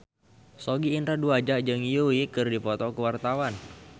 Sogi Indra Duaja jeung Yui keur dipoto ku wartawan